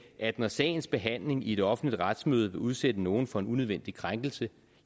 at når sagens behandling i et offentligt retsmøde vil udsætte nogen for en unødvendig krænkelse